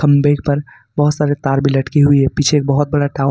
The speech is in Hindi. खंबे पर बहुत सारे तार भी लटके हुए हैं पीछे एक बहुत बड़ा टावर--